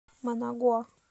манагуа